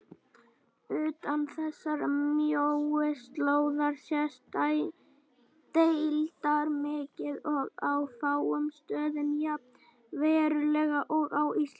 Utan þessarar mjóu slóðar sést deildarmyrkvi og á fáum stöðum jafn verulegur og á Íslandi.